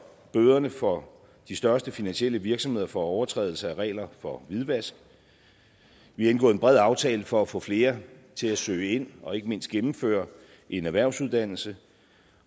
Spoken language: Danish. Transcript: bøderne for de største finansielle virksomheder for overtrædelse af regler for hvidvask vi har indgået en bred aftale for at få flere til at søge ind og ikke mindst gennemføre en erhvervsuddannelse